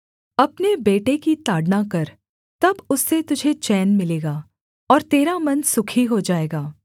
अपने बेटे की ताड़ना कर तब उससे तुझे चैन मिलेगा और तेरा मन सुखी हो जाएगा